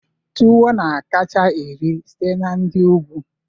Tuwo na-akacha eri site na ndi ugwu